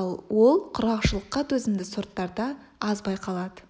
ал ол құрғақшылыққа төзімді сорттарда аз байқалады